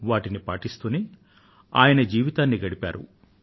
వాటిని పాటిస్తూనే ఆయన తన జీవితాన్ని గడిపారు